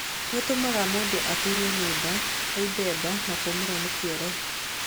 Nĩ ũtũmaga mũndũ aturwo nĩ nda, aimbe nda na kũũmĩrwo nĩ kĩoro.